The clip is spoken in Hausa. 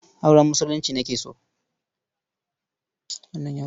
Auren Musulunci nake so.